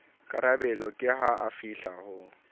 karabelo ke ha afihla ho